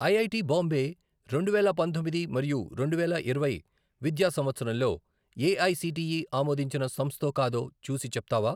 IIT Bombay రెండువేల పంతొమ్మిది మరియు రెండువేల ఇరవై విద్యా సంవత్సరంలో ఏఐసిటిఈ ఆమోదించిన సంస్థో కాదో చూసి చెప్తావా?